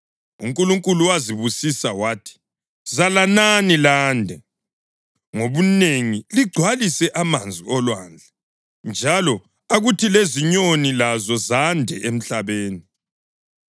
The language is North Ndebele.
UNkulunkulu wazibusisa wathi, “Zalanani lande ngobunengi ligcwalise amanzi olwandle, njalo akuthi lezinyoni lazo zande emhlabeni.”